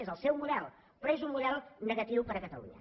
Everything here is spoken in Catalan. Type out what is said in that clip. és el seu model però és un model negatiu per a catalunya